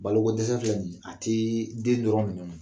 Balokodɛsɛ filɛ nin ye a tɛ den dɔrɔn minɛ